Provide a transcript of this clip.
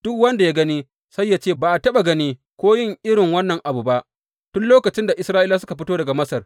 Duk wanda ya gani, sai ya ce, Ba a taɓa gani ko yin irin wannan abu ba, tun lokacin da Isra’ilawa suka fito daga Masar.